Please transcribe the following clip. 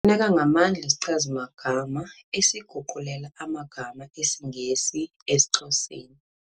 Sifuneka ngamandla isichazi-magama esiguqulela amagama esiNgesi esiXhoseni